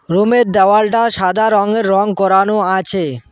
রুমের -এর দেওয়ালটা সাদা রঙে রঙ করানো আছে।